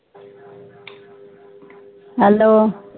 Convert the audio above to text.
hello